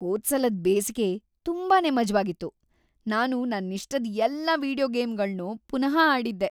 ಹೋದ್ಸಲದ್ ಬೇಸಿಗೆ ತುಂಬಾನೇ ಮಜವಾಗಿತ್ತು. ನಾನು ನನ್ನಿಷ್ಟದ್ ಎಲ್ಲಾ ವೀಡಿಯೊ ಗೇಮ್‌ಗಳ್ನೂ ಪುನಃ ಆಡಿದ್ದೆ.